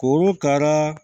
Kuru ka